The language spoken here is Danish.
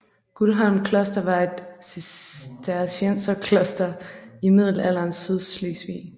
Guldholm kloster var et Cistercienserkloster i middelalderens Sydslesvig